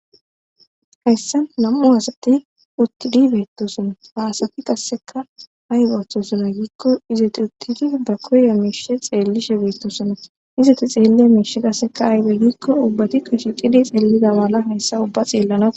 Hayssa nam'u hasati uttidi beettosona aasati qasseka ay bethtosona giikko izeti uttidi ba koya meishe xeellishe beettosona izeti xeelliya meishe qasseka aybey giikko ubbatikkashi xidi xeellida waala hayssa ubba xeellana.